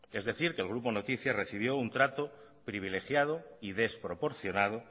es decir que el grupo noticias recibió un trato privilegiado y desproporcionado